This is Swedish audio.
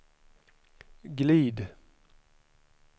glid